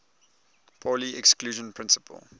pauli exclusion principle